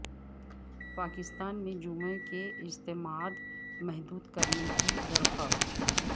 پاکستان میں جمعے کے اجتماعات محدود کرنے کی درخواست